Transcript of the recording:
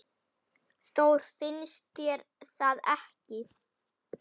Þór, finnst þér það ekki?